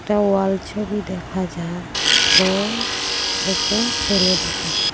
ওয়াল ছবি দেখা যায় ও একজন ছেলে দেখা যায়।